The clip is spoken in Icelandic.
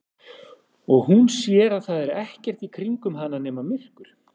Og hún sér að það er ekkert í kringum hana nema myrkur.